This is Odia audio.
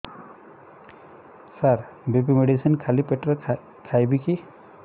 ସାର ବି.ପି ମେଡିସିନ ଖାଲି ପେଟରେ ଖାଇବି କି